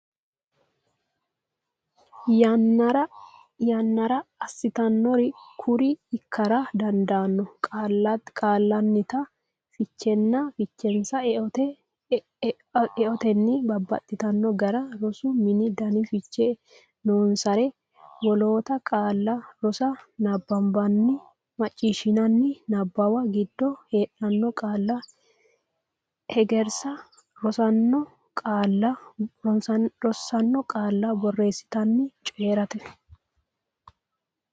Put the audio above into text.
yannara assitannori kuriuu ikkara dandaanno Qaallannita fichenna fichensa eotenni babbaxxitanno gara rosa Mittu dani fiche noonsare woloota qaalla rosa Nabbanbanninna macciishshinanni niwaabba giddo heedhanno qaalla hegersa Rossino qaalla borreessatenna coyi rate.